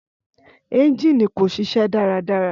Ẹ́ngínì kò ṣiṣẹ́ dáradára.